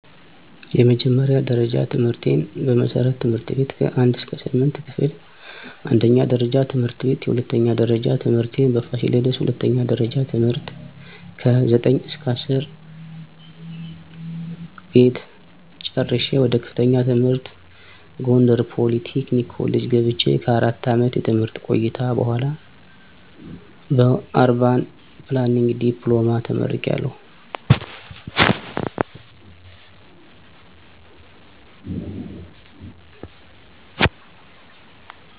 የመጀመርያ ደረጃ ትምህርቴን በመሠረትት/ቤት ከ1-8 ክፍል አንደኛ ደረጃ ት/ቤት የሁለተኛ ደረጃ ትምህርቴን በፋሲለደስ ሁለተኛ ደረጃ ት/ከ9-10 ቤት ጨረሸ ወደ ከፍተኛ ትምህር ጎንደር ፖሊ ቴክኒክ ኮሌጅ ገብቸ ከ4 አመት የትምህርት ቆይታ በኋላ በኧርባን ፕላንኒንግ ዲፕሎማ ተመርቂያለሁ